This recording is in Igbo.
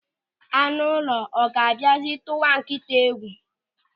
Anụ ụlọ, ọ ga-abịazi tụwa nkịta egwu?